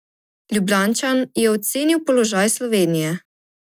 Ljubljančan je ocenil položaj Slovenije.